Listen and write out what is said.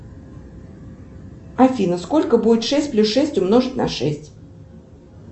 афина сколько будет шесть плюс шесть умножить на шесть